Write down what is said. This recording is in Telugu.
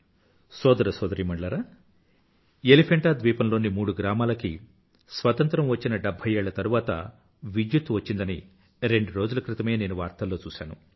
సోదరసోదరీమణూలారా ఎలిఫెంటా ద్వీపంలోని మూడు గ్రామాలకి స్వతంత్రం వచ్చిన డెభ్భై ఏళ్ల తరువాత విద్యుత్తు వచ్చిందని రెండు రోజుల క్రితమే నేను వార్తల్లో చూశాను